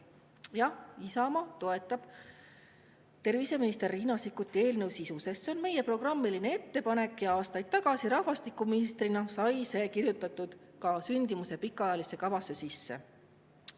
Jah, Isamaa toetab terviseminister Riina Sikkuti eelnõu sisu, sest see on meie programmiline ettepanek ja aastaid tagasi, kui olin rahvastikuminister, sai see kirjutatud ka sündimuse pikaajalisse kavasse sisse.